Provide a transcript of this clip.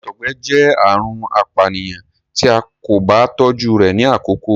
àtọgbẹ jẹ àrùn apànìyàn tí a kò bá tójú rẹ ni àkọkọ